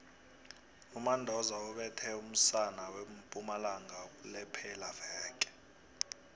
umandoza ubethe umusana wempumalanga kulephelaveke